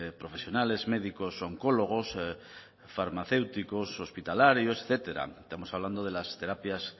profesionales médicos oncólogos farmacéuticos hospitalarios etcétera estamos hablando de las terapias